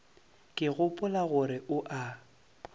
ke gopola gore o a